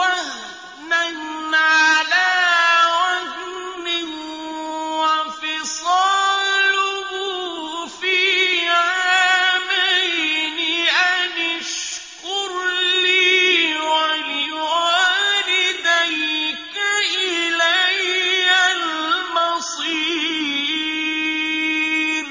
وَهْنًا عَلَىٰ وَهْنٍ وَفِصَالُهُ فِي عَامَيْنِ أَنِ اشْكُرْ لِي وَلِوَالِدَيْكَ إِلَيَّ الْمَصِيرُ